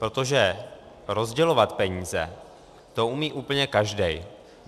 Protože rozdělovat peníze, to umí úplně každý.